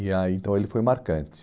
E aí, então, ele foi marcante.